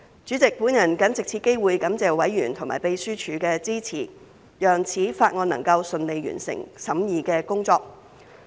主席，我謹藉此機會感謝委員和秘書處的支持，讓《條例草案》能夠順利完成審議的工作。